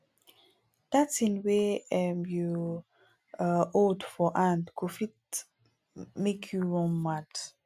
dat thing wey um you um hold for hand go fit um make you run mad